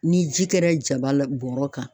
Ni ji kɛra jaba la bɔrɔ kan